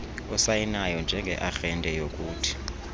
osayinayo njengearhente yokuthi